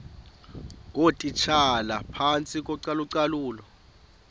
ngootitshala phantsi kocalucalulo